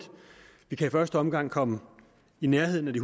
vi kan i første omgang komme i nærheden af de